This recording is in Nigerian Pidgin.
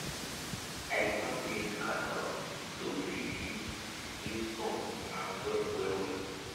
i dey plant maize with cassava so we fit use use sun and soil well well